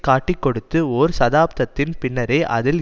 காட்டிக்கொடுத்து ஒரு தசாப்தத்தின் பின்னரே அதில்